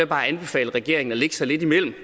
bare anbefale regeringen at lægge sig lidt imellem